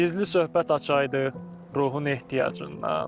Gizli söhbət açaydıq ruhun ehtiyacından.